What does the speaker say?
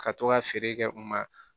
Ka to ka feere kɛ u ma